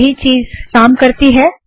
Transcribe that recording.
वही चीज़ काम करती है